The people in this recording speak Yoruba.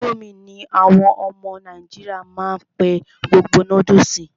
Ińdómì ní àwọn ọmọ nàìjíríà má n pé gbogbo noodles.